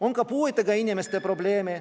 On ka puuetega inimeste probleeme.